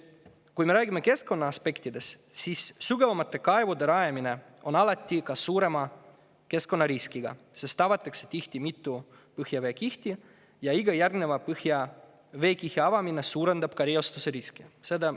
Kui me räägime keskkonnaaspektidest, siis sügavamate kaevude rajamine on alati suurema keskkonnariskiga, sest sel juhul avatakse tihti mitu põhjaveekihti ja iga järgneva veekihi avamine suurendab reostuse riski.